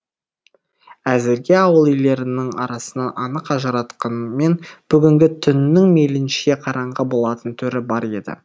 әзірге ауыл үйлерінің арасын анық ажыратқанмен бүгінгі түннің мейлінше қараңғы болатын түрі бар еді